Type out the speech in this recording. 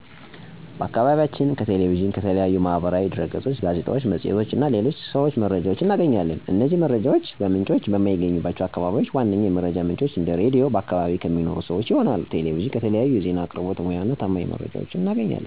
በአከባቢያችን ከ ቴሌቪዥን፣ ከተለያዩ ማህበራዊ ድህረገጾች፣ ጋዜጣዎች፣ መፅሔቶች እና ሰዎች የተለያዩ መረጃዎች እናገኛለን። እነዚህ የመረጃ ምንጮች በማይገኙባቸው አከባቢዎች ዋነኛ የመረጃ ምንጭ ራድዮ እና በአከባቢ ከሚኖሩ ሰወች ይሆናል። ቴሌቪዥን ከተለያዩ ዜና አቅርቦት ሙያ እና ታማኝ የመረጃ ምንጭ ባላቸው በዘርፉ በተመረቁ ሰወች የሚቀርብ በመሆኑ እና ለህዝቡ ተደራሽ ከመሆኑ በፊት በሚገባ መረጃውን በመመርመር እና እውነታዊነቱን በማጤን መርምረው ለህዝቡ በማቅረባቸው ተመራጭ የመረጃ ምንጭ ያረገዋል።